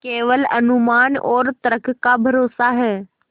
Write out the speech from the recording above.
केवल अनुमान और तर्क का भरोसा है